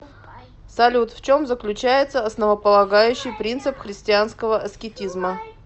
салют в чем заключается основополагающий принцип христианского аскетизма